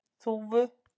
Þúfu